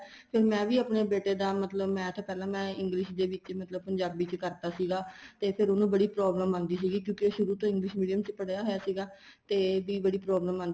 ਫ਼ਿਰ ਮੈਂ ਵੀ ਆਪਣੇ ਬੇਟੇ ਦਾ ਮਤਲਬ math ਪਹਿਲਾਂ ਮੈਂ English ਦੇ ਵਿੱਚ ਮਤਲਬ ਪੰਜਾਬੀ ਦੇ ਵਿੱਚ ਕਰਤਾ ਸੀਗਾ ਤੇ ਫ਼ਿਰ ਉਹਨੂੰ ਬੜੀ problem ਆਂਦੀ ਸੀਗੀ ਕਿਉਂਕਿ ਸ਼ੁਰੂ ਤੋ ਹੀ English Medium ਪੜ੍ਹਿਆ ਹੋਇਆ ਸੀਗਾ ਤੇ ਇਹਦੀ ਵੀ ਬੜੀ problem ਆਂਦੀ